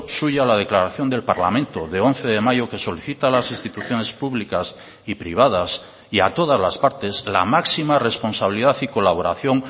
suya la declaración del parlamento de once de mayo que solicita a las instituciones públicas y privadas y a todas las partes la máxima responsabilidad y colaboración